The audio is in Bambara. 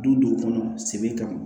Du dɔw kɔnɔ segu ka